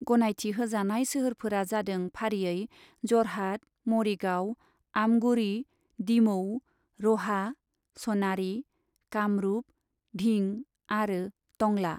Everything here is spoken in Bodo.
गनायथि होजानाय सोहोरफोरा जादों फारियै ज'रहात, मरिगाव, आमगुरि, डिमौ, रहा, स'नारि, कामरुप, धिं आरो टंला।